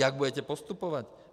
Jak budete postupovat?